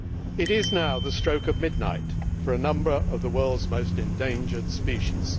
It is now the stroke of midnight for a number of the world's most endangered species.